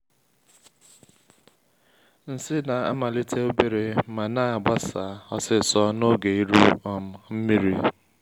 nsi na-amalite obere ma na-agbasa osisor n’oge iru um nmiri